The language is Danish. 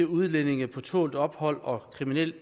udlændinge på tålt ophold og kriminelle